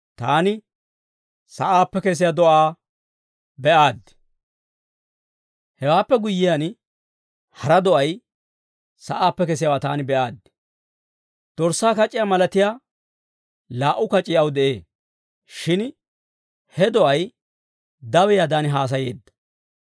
Hewaappe guyyiyaan, hara do'ay sa'aappe kesiyaawaa taani be'aaddi. Dorssaa kac'iyaa malatiyaa laa"u kac'ii aw de'ee; shin he do'ay dawiyaadan haasayeedda.